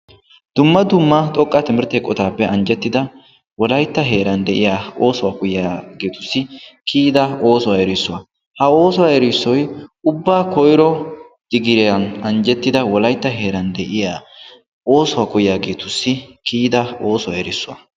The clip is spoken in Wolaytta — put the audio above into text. Dumma dumma xoqqaa timirtte eqqottaappe anjjettida wolaytta heeran de'iya oosuwa koyyiyageetussi kiyida oosuwa erissuwa, ha oosuwa erissoy ubbaa koyro diggiriyan anjjettida wolaytta heeran de'iya oosuwa koyiyageetussi kiyada oosuwa erissuwa.